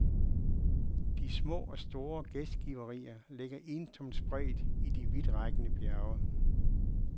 De små og store gæstgiverier ligger ensomt spredt i de vidtrækkende bjerge.